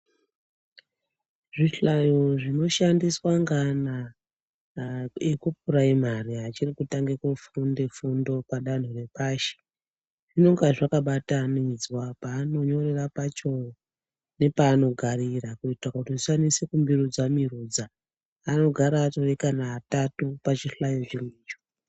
Zvihlayo zvinoshandiswa ngeana ekupuraimari achikutange kufunda fundo padanho repashi zvinonga zvakabatanidzwa paanonyorera nepaanogarira kuita kuti zvisanese kumirudza mirudza anogara atori atatu pachihlayo chimwecho.